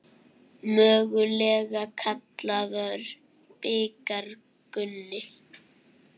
Mögulega kallaður bikar Gunni?